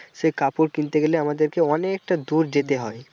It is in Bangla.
সে কাপড় কিনতে গেলে আমাদেরকে অনেকটা দূর যেতে হয়।